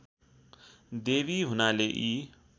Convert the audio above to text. देवी हुनाले यी